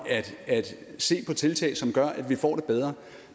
at se på tiltag som gør at vi får det bedre